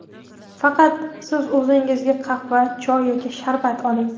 Faqat siz o‘zingizga qahva, choy yoki sharbat oling.